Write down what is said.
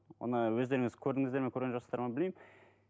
оны өздеріңіз көрдіңіздер ме көрген жоқсыздар ма білмеймін